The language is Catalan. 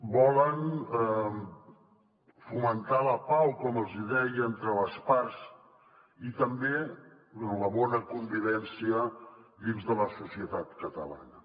volen fomentar la pau com els hi deia entre les parts i també la bona convivència dins de la societat catalana